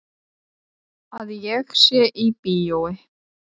Að ég sé í bíói.